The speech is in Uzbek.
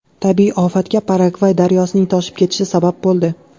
Tabiiy ofatga Paragvay daryosining toshib ketishi sabab bo‘ldi.